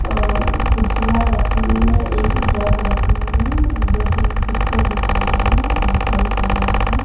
और कुर्सिया रखी हुई है एक जग रखी हुई है दो-तीन पिक्चर दिखाई दे रही है एक घड़ी टंगा हुआ है।